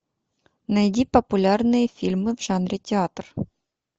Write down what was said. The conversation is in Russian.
найди популярные фильмы в жанре театр